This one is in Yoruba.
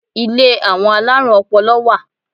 Ilé àwọn alárùn ọpọlọ wà.